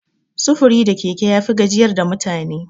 Sufuri da keke yafi gajiyar da mutane.